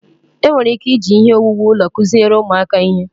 enwere ike iji ihe owuwu ụlọ kụziere ụmụaka ihe